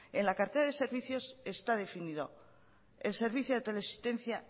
en la cartera de servicios está definido el servicio de teleasistencia